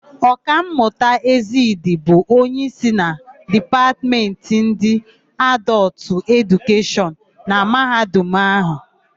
Ọkammụta Ezedị bụ onyeísí na Dipatmentị ndị Adọltụ Edukeshọn na Mahadum áhụ̀.